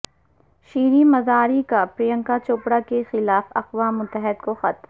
شیریں مزاری کا پرینکا چوپڑا کے خلاف اقوام متحدہ کو خط